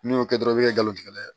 N'i y'o kɛ dɔrɔn i be gari tigɛ dɛ